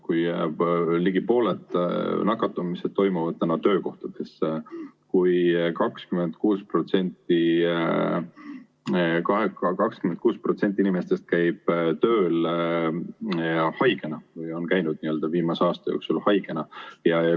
Ligi pooled nakatumised toimuvad täna töökohtades, 26% inimestest on käinud viimase aasta jooksul haigena tööl.